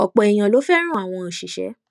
òpò èèyàn ló máa ń fẹràn àwọn òṣìṣé